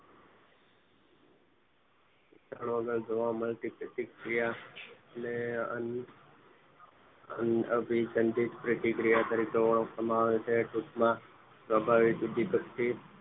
જોડાણ વગર જોવા મળતી પ્રતિક્રિયા ને અન્ય અભીસંધિત પ્રતિક્રિયા તરીકે ઓળખવામાં આવે છે ટૂંકમાં સ્વાભાવિક રેતે ઉદીપક